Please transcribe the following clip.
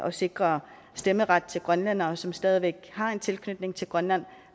at sikre stemmeret til grønlændere som stadig væk har en tilknytning til grønland